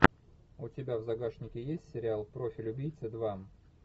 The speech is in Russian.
у тебя в загашнике есть сериал профиль убийцы два